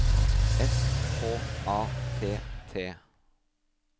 S K A T T